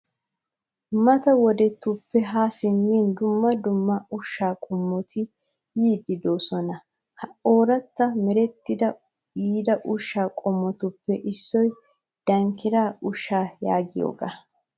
Mata wodettuppe ha simmin dumma dumma ushsha qommotti yiidi deosona. Ha ooratti merettidi yiida ushsha qommotuppe issoy dankira ushsha yaagiyooga.